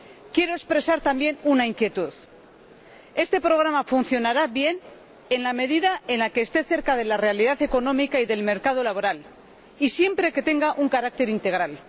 Quiero expresar también una inquietud este programa funcionará bien en la medida en la que esté cerca de la realidad económica y del mercado laboral, y siempre que tenga un carácter integral.